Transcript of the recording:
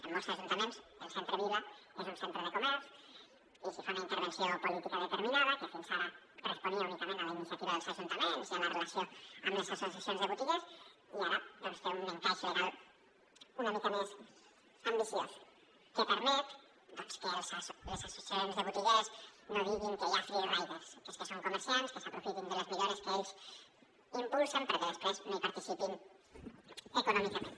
en molts ajuntaments el centre vila és un centre de comerç i s’hi fa una intervenció política determinada que fins ara responia únicament a la iniciativa dels ajuntaments i a la relació amb les associacions de botiguers i ara doncs té un encaix legal una mica més ambiciós que permet que les associacions de botiguers no diguin que hi ha free riders que són comerciants que s’aprofiten de les millores que ells impulsen perquè després no hi participen econòmicament